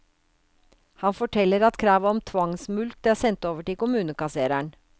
Han forteller at kravet om tvangsmulkt er sendt over til kommunekassereren.